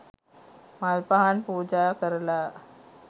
මල් පහන් පූජා කරලා